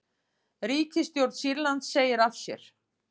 Ríkisstjórn Sýrlands segir af sér